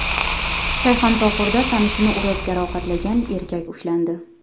Shayxontohurda tanishini urib jarohatlagan erkak ushlandi.